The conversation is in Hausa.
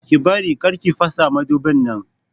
Ke Bari!kar ki fasa madubin nan!